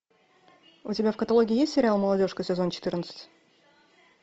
у тебя в каталоге есть сериал молодежка сезон четырнадцать